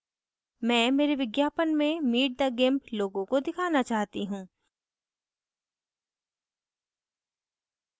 मैं मेरे विज्ञापन में meet the gimp logo को दिखाना चाहती हूँ